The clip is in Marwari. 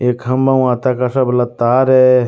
एक खम्भा माते काशा भला तार है।